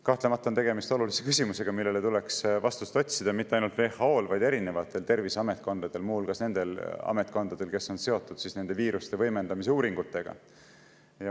Kahtlemata on tegemist olulise küsimusega, millele tuleks vastust otsida, ja mitte ainult WHO-l, vaid erinevatel terviseametkondadel, muu hulgas nendel ametkondadel, kes on seotud nende viiruste võimendamise uuringutega.